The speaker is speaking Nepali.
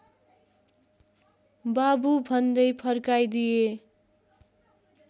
बाबु भन्दै फर्काइदिए